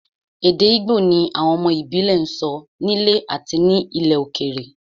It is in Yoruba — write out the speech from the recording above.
Èdè Igbo ni àwọn ọmọ ìbílẹ̀ ń sọ nílé àti ní ilẹ̀ òkèèrè